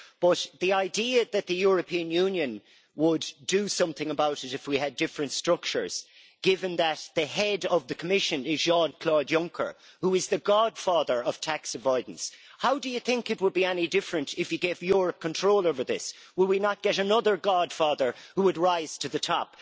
But as for the idea that the European Union would do something about it if we had different structures given that the head of the Commission is Jean Claude Juncker, who is the godfather of tax avoidance, how do you think it would be any different if he gave Europe control over this? Will we not get another godfather who would rise to the top?